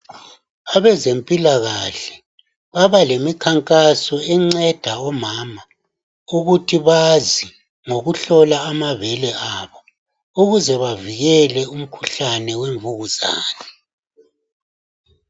Abezempilakahle baba lemikhankaso enceda omama ukuthi bazi ngokuhlola amabele abo, ukuze bavikele umkhuhlane wemvukuzane.